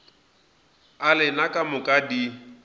a lena ka moka di